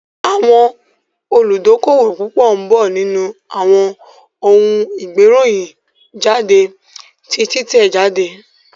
Àwọn olùdókówò púpọ̀ ń bọ̀ nínú àwọn ohun gbé ìròyìn jáde ti títẹ̀ jáde